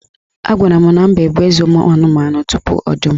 Agwara m na Mbe bụ eze ụmụanụmanụ tupu Ọdụm